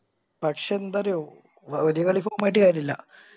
പക്ഷെ എന്തറിയോ ഒര് കളിക്ക് ആയിട്ട് കാര്യായില്ല